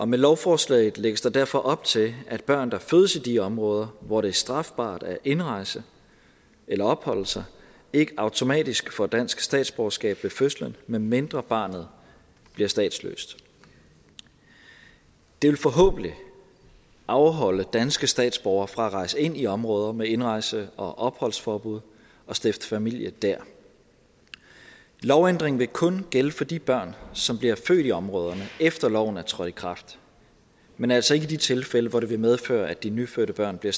med lovforslaget lægges der derfor op til at børn der fødes i de områder hvor det er strafbart at indrejse eller opholde sig ikke automatisk får dansk statsborgerskab ved fødslen medmindre barnet bliver statsløs det vil forhåbentlig afholde danske statsborgere fra at rejse ind i områder med indrejse og opholdsforbud og stifte familie der lovændringen vil kun gælde for de børn som bliver født i områderne efter loven er trådt i kraft men altså ikke i de tilfælde hvor det vil medføre at de nyfødte børn bliver